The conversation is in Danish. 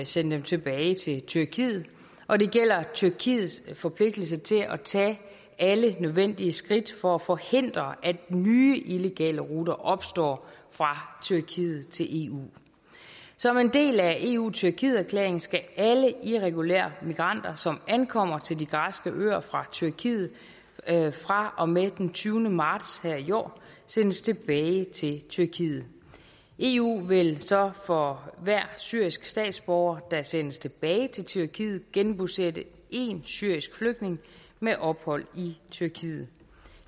sende dem tilbage til tyrkiet og det gælder tyrkiets forpligtelse til at tage alle nødvendige skridt for at forhindre at nye illegale ruter opstår fra tyrkiet til eu som en del af eu tyrkiet erklæringen skal alle irregulære migranter som ankommer til de græske øer fra tyrkiet fra og med den tyvende marts her i år sendes tilbage til tyrkiet eu vil så for hver syrisk statsborger der sendes tilbage til tyrkiet genbosætte en syrisk flygtning med ophold i tyrkiet